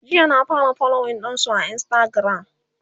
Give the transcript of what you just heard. jiya na fara following ɗinsu a instagram